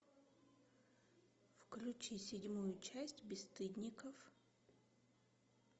включи седьмую часть бесстыдников